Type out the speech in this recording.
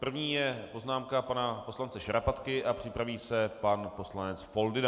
První je poznámka pana poslance Šarapatky a připraví se pan poslanec Foldyna.